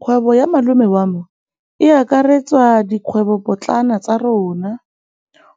Kgwêbô ya malome wa me e akaretsa dikgwêbôpotlana tsa rona.